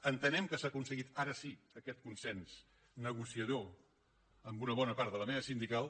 entenem que s’ha aconseguit ara sí aquest consens negociador amb una bona part de la mesa sindical